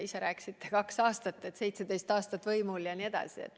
Ise rääkisite kaks aastat, et me olime 17 aastat võimul, ja nii edasi.